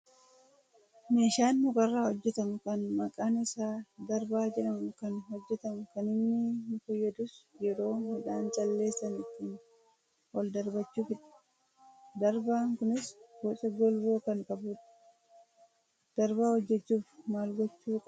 Meeshaan mukarraa hojjatamu kan maqaan isaa darbaa jedhamu kan hojjatamu kan inni nu fayyadus yeroo midhaan calleessan ittiin ol darbachuufidha. Darbaan kunis boca golboo kan qabudha. Darbaa hojjachuuf maal gochuu qabnaa?